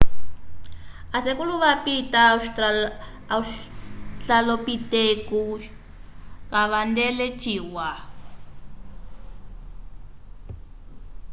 a sekulo vapita australopitecos kavandele ciwa